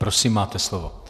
Prosím, máte slovo.